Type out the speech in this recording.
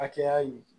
Hakɛya in